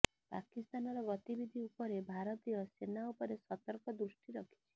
ପାକିସ୍ତାନର ଗତିବିଧି ଉପରେ ଭାରତୀୟ ସେନା ଉପରେ ସତର୍କ ଦୃଷ୍ଟି ରଖିଛି